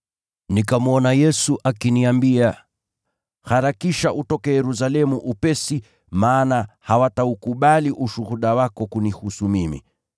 nikamwona Bwana akiniambia, ‘Harakisha utoke Yerusalemu upesi, maana hawataukubali ushuhuda wako kunihusu mimi.’